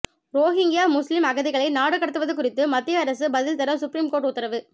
Rohingya முஸ்லிம் அகதிகளை நாடு கடத்துவது குறித்து மத்திய அரசு பதில் தர சுப்ரீம் கோர்ட் உத்தரவு